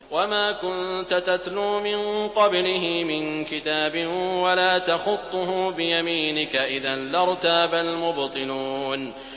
وَمَا كُنتَ تَتْلُو مِن قَبْلِهِ مِن كِتَابٍ وَلَا تَخُطُّهُ بِيَمِينِكَ ۖ إِذًا لَّارْتَابَ الْمُبْطِلُونَ